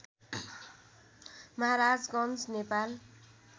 Maharajganj Nepal